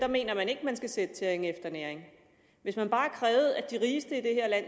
mener at der skal sættes tæring efter næring hvis man bare krævede at de rigeste i det her land